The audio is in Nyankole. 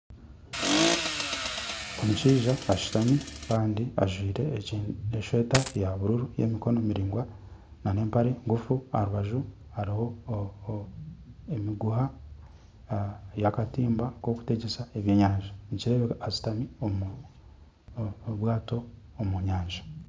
Omushaija ashutami kandi ajwaire esweeta ya buruuru y'emikono miraingwa n'empare nguufu aha rubaju hariho emiguuha y'akatimba nk'okutegyesa ebyenyanja nikireebeka ashuutami omu bwaato omu nyanja.